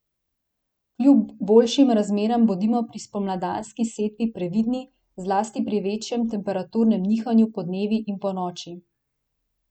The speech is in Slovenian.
Kljub boljšim razmeram bodimo pri spomladanski setvi previdni, zlasti pri večjem temperaturnem nihanju podnevi in ponoči.